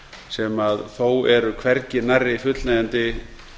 sem þó eru hvergi nærri fullnægjandi